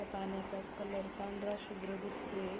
या पाण्याचा कलर पांढरा शुभ्र दिसतोय.